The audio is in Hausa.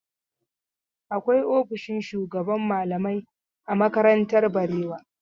Akwai ofishin shugaban malamai a makarantar Barewa.